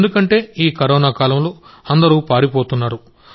ఎందుకంటే ఈ కరోనా కాలంలో అందరూ పారిపోతున్నారు